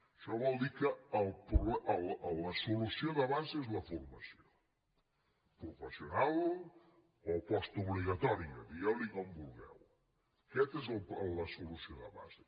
això vol dir que la solució de base és la formació professional o postobligatòria digueu ne com vulgueu aquesta és la solució de base